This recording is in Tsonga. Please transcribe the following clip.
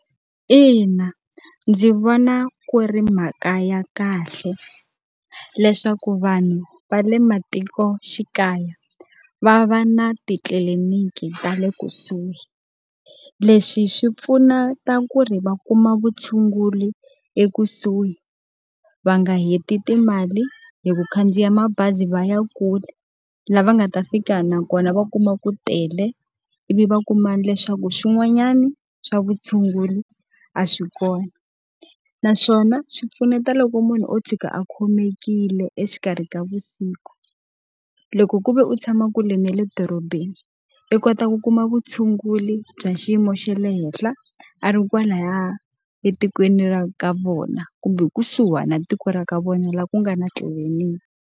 In, a ndzi vona ku ri mhaka ya kahle, leswaku vanhu va le matikoxikaya va va na titliliniki ta le kusuhi. Leswi swi pfunata ku ri va kuma vutshunguri ekusuhi, va nga heti timali hi ku khandziya mabazi va ya kule, laha nga ta fika na kona va kuma ku tele ivi va kuma leswaku swin'wanyani swa vutshunguri a swi kona. Naswona swi pfuneta loko munhu o tshuka a khomekile exikarhi ka vusiku. Loko ku ve u tshama kule na le dorobeni, i kota ku kuma vutshunguri bya xiyimo xa le henhla a ri kwalaya etikweni ra ka vona kumbe kusuhi na tiko ra ka vona laha ku nga na tliliniki.